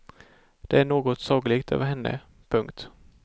Det är något sagolikt över henne. punkt